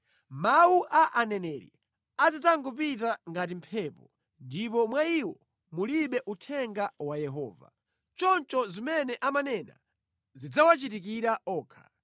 Mawu a aneneri azidzangopita ngati mphepo; ndipo mwa iwo mulibe uthenga wa Yehova. Choncho zimene amanena zidzawachitikira okha.”